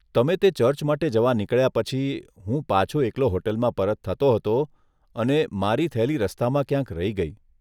તમે તે ચર્ચ માટે જવા નીકળ્યા પછી, હું પાછો એકલો હોટલમાં પરત થતો હતો, અને મારી થેલી રસ્તામાં ક્યાંક રહી ગઇ.